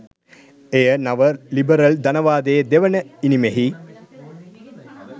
එය නව ලිබරල් ධනවාදයේ දෙවන ඉනිමෙහි